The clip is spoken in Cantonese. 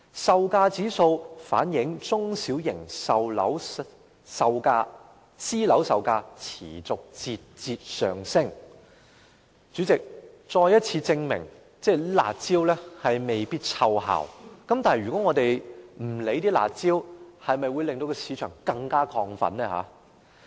售價指數反映中小型私樓售價持續節節上升，再次證明"辣招"未必奏效，但我們若不採取"辣招"，是否會令市場更亢奮？